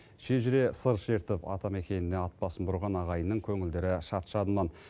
шежіре сыр шертіп атамекеніне ат басын бұрған ағайынның көңілдері шат шадыман